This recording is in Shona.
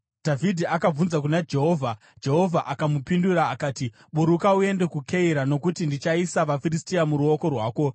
Dhavhidhi akabvunza kuna Jehovha, Jehovha akamupindura akati, “Buruka uende kuKeira, nokuti ndichaisa vaFiristia muruoko rwako.”